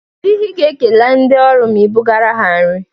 Kedụ ihe i ga-ekele ndị ọrụ ma i bụgaara ha nri?